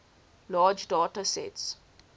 large data sets